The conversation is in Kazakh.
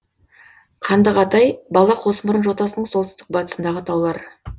қандығатай бала қосмұрын жотасының солтүстік батысындағы таулар